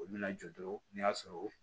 Olu bɛna jɔɔrɔ n'a sɔrɔ